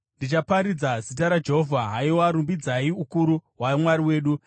Ndichaparidza zita raJehovha. Haiwa, rumbidzai ukuru hwaMwari wedu!